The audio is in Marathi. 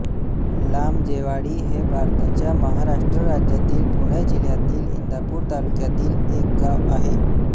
लामजेवाडी हे भारताच्या महाराष्ट्र राज्यातील पुणे जिल्ह्यातील इंदापूर तालुक्यातील एक गाव आहे